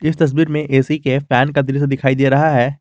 इस तस्वीर में ए_सी के फैन का दृश्य दिखाई दे रहा है।